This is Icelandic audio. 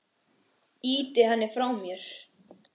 Ýti henni frá mér.